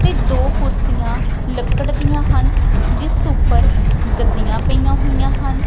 ਤੇ ਦੋ ਕੁਰਸੀਆਂ ਲੱਕੜ ਦੀਆਂ ਹਨ ਜਿਸ ਉੱਪਰ ਗੱਦੀਆਂ ਪਈਆਂ ਹੋਈਆਂ ਹਨ।